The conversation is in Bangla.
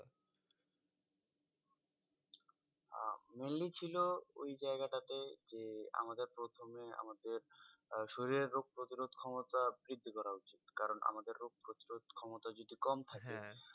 আহ mainly ছিল ওই জায়গাটা তে যে, আমাদের প্রথমে আমাদের আহ শরীরে রোগ প্রতিরোধ ক্ষমতা বৃদ্ধি করা উচিৎ। কারন আমাদের রোগ প্রতিরোধ ক্ষমতা যদি কম থাকে